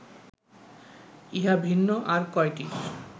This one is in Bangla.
ইহা ভিন্ন আর কয়টির